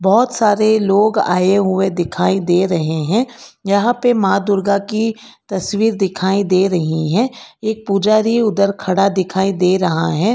बहोत सारे लोग आए हुए दिखाई दे रहे हैं यहां पे मां दुर्गा की तस्वीर दिखाई दे रही हैं एक पुजारी उधर खड़ा दिखाई दे रहा है।